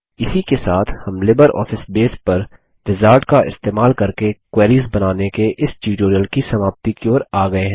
इसी के साथ हम लिबरऑफिस बेस पर विजार्ड का इस्तेमाल करके क्वेरीस बनाने के इस ट्यूटोरियल की समाप्ति की ओर आ गये हैं